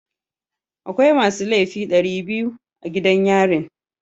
Akwai masu laifi dari biyu a gidan yarin.